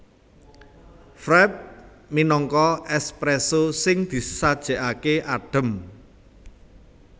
Frappé minangka espresso sing disajèkaké adhem